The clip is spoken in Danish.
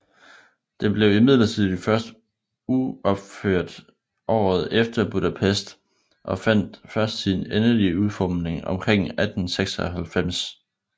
Den blev imidlertid først uropført året efter i Budapest og fandt først sin endelige udformning omkring 1896